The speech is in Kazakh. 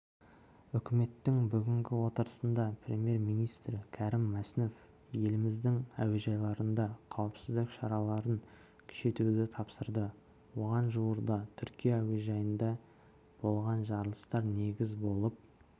үкіметтің бүгінгі отырысында премьер-министрі кәрім мәсімов еліміздің әуежайларында қауіпсіздік шараларын күшейтуді тапсырды оған жуырда түркия әуежайында болған жарылыстар негіз болып отыр